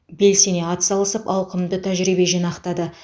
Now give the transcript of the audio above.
белсене атсалысып ауқымды тәжірибе жинақтады